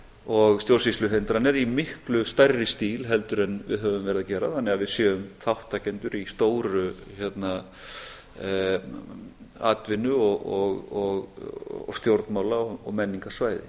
og stjórnsýsluhindranir í miklu stærri stíl en við höfum verið að gera þannig að við séum þátttakendur í stóru atvinnu og stjórnmála og menningarsvæði